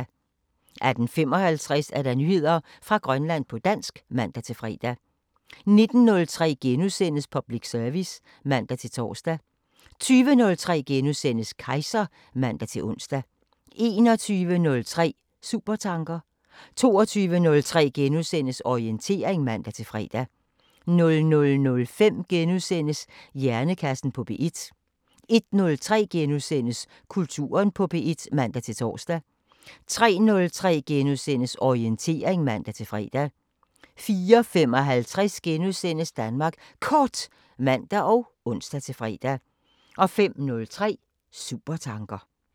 18:55: Nyheder fra Grønland på dansk (man-fre) 19:03: Public service *(man-tor) 20:03: Kejser *(man-ons) 21:03: Supertanker 22:03: Orientering *(man-fre) 00:05: Hjernekassen på P1 * 01:03: Kulturen på P1 *(man-tor) 03:03: Orientering *(man-fre) 04:55: Danmark Kort *(man og ons-fre) 05:03: Supertanker